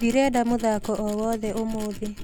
Ndirenda mũthako o wothe ũmũthĩ